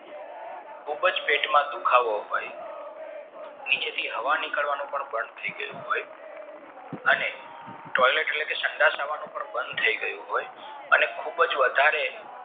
ખુબજ પેટમાં દુખાવો હોય નીચેથી હવા નીકરવાનું પણ બાણ થઈ ગયું હોય અને toilet એટલે કે સંડાસ આવાનું બન થય ગયું હોય અને ખુબ જ વધારે